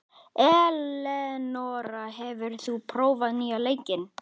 Elenóra, hefur þú prófað nýja leikinn?